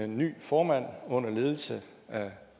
ny formand under ledelse af